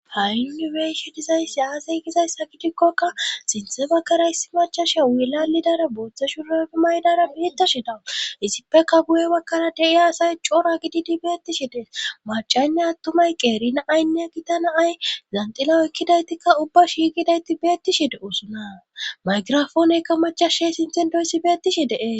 hai yunibeyshi dizayssi aasay gizayssa gidikkokka sinthe bakkara issi machashe wuilalidara booththashu ragi maydara biittashi dawu issipfeka buye bakkara dei aasay coora gididi beettishi dee macaynne attumay qeerina aynnea gitana ay zanxila oykkidaytikka ubba shiigidayti beettishide usuna maygirafooneykka macashay sinthen doyssi beetishi dee